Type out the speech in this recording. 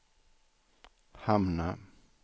hamna